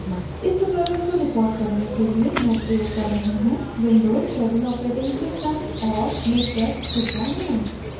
इस tutorial को record करने के लिए मैं प्रयोग कर रही हूँ windows7 7 operating system और miktex29